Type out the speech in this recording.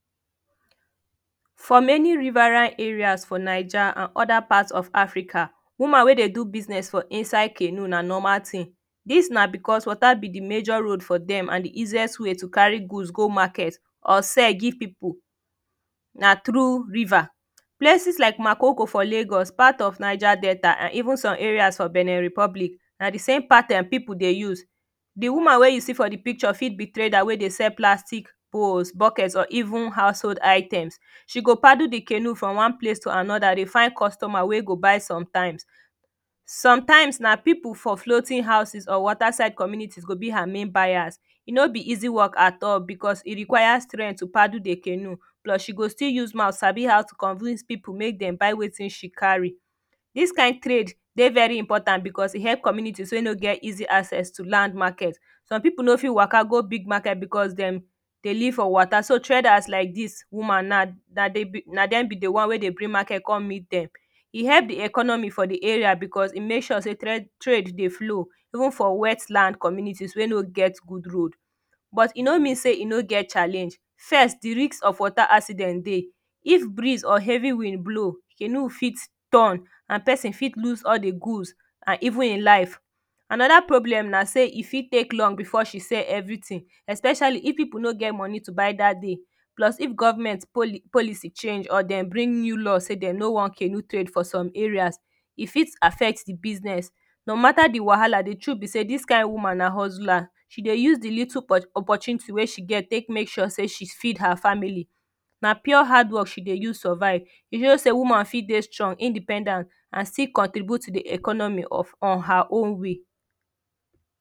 For many riverine areas for naija and other part of Africa woman wey dey do business for inside canoe na normal tin dis na becos water be de major road for dem and de easiest way to carry goods go market or sell give people na through river places like makoko for Lagos part of Naija delta an even some areas for bene republic na de same pattern people dey use The woman wey you see for de picture fit be trader wey dey sell plastic bowls bucket or even house hold items she go paddle de canoe from one place to anoda dey find customer wey go buy sometimes sometimes na people for floating houses or water side community go be her main buyers e no be easy work at all because e require strength to paddle de canoe plus she go still use mouth Sabi how to convince people make dem but wetin she carry dis kind trade dey very important because e help communities wey no get easy access to land Market some people no fit waka go big market because dem dey live for water so traders like dis woman na na de na dem be de one wey dey bring market come meet dem dem help de economy for de area because e make sure say trade dey flow even for wet land community dey wey no get road bit e no mean say e no get challenge first de risk of water accident dey if breeze or heavy wind blow canoe fit turn and person fit loose all de goods and even him life anoda problem na say e fit take long before she sell everytin especially if people no get money to buy that day plus if government policy change or dem bring new law say dem no wan canoe trade for some areas e fit affect the business. No Mata de wahala de truth ne say this kind woman na hustler she dey use the little opportunity wey she gets taken make sure say she feed her family na pure hard work she dey use survive e show say woman fit dey strong independent and still contribute to de economy on her own way